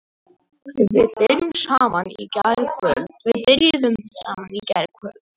Við byrjuðum saman í gærkvöld.